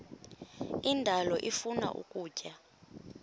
indalo ifuna ukutya